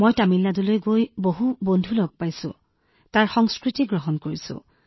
মই তামিলনাডুত ভাল বন্ধু বনাইছো তাত থকা সংস্কৃতিৰ সৈতে খাপ খাইছো